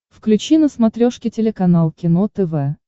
включи на смотрешке телеканал кино тв